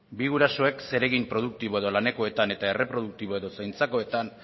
bi gurasoek zeregin produktibo edo lanekoetan eta erreproduktibo edo zaintzakoetan